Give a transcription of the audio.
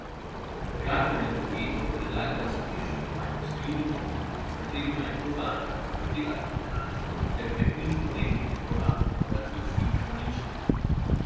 Gradbeni podjetji predlagata sodišču, naj posojilni pogodbi, s katerima je Probanka zavrtela tok denarja, ter preknjižbo delnic Probanke razglasi za nične.